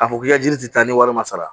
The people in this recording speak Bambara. K'a fɔ k'i ka jiri ti taa ni wari ma sara